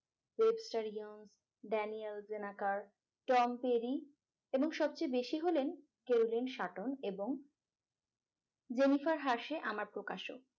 webstaryoung dennyaljenakar tom perry এবং সবচেয়ে বেশি হলেন kelgen sutton এবং jennifer harsh আমার প্রকাশক